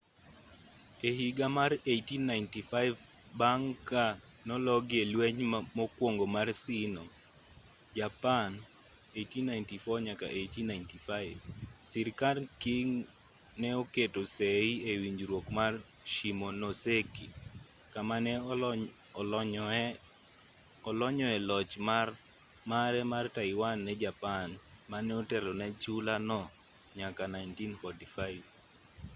e higa mar 1895 bang' ka nologi e lweny mokuongo mar sino - japan 1894-1895 sirkand qing ne oketo sei e winjruok mar shimonoseki kama ne olonyoe loch mare mar taiwan ne japan mane otelo ne chula no nyaka 1945